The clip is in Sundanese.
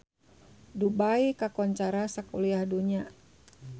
Dubai kakoncara sakuliah dunya